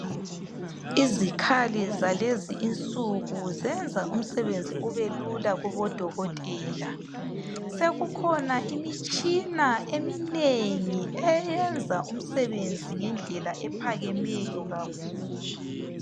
Izikhali zalezi isuku zenza umsebenzi ubelula kubodokotela. Sekukhona imitshina eminengi eyenza umsebenzi ngendlela ephakemeyo kakhulu.